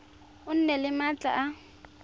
o nne le maatla a